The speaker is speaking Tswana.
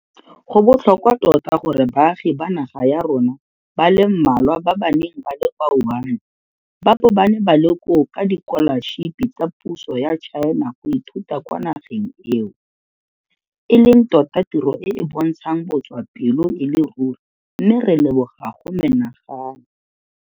Go botlhokwa tota gore baagi ba naga ya rona ba le mmalwa ba ba neng ba le kwa Wuhan ba bo ba ne ba le koo ka dikolašipi tsa puso ya China go ithuta kwa nageng eo, e leng tota tiro e e bontshang botswapelo e le ruri mme re leboga go menagane.